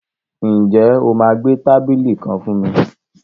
Ǹjẹ́ o máa gbẹ́ tábìlì kan fún mi?